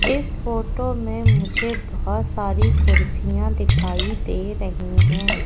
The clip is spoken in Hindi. इस फोटो में मुझे बहोत सारी कुर्सियां दिखाई दे रही हैं।